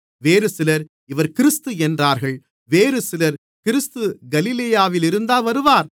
வேறுசிலர் இவர் கிறிஸ்து என்றார்கள் வேறுசிலர் கிறிஸ்து கலிலேயாவிலிருந்தா வருவார்